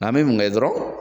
N'an bɛ mun kɛ dɔrɔn